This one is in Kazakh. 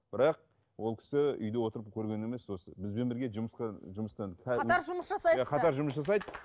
бірақ ол кісі үйде отырып көрген емес осы бізбен бірге жұмысқа жұмыстан қатар жұмыс жасайсыздар иә қатар жұмыс жасайды